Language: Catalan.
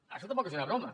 això tampoc és una broma